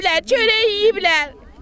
Çay içiblər, çörək yeyiblər.